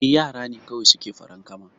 Eh yara ne kawai suke farankama